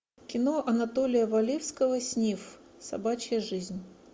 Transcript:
кино анатолия валевского снифф собачья жизнь